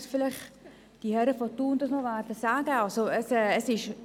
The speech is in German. Vielleicht gehen die Grossräte aus Thun auch noch darauf ein.